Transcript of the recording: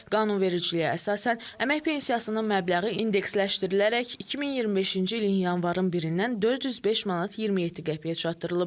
Qanunvericiliyə əsasən, əmək pensiyasının məbləği indeksləşdirilərək 2025-ci ilin yanvarın 1-dən 405 manat 27 qəpiyə çatdırılıb.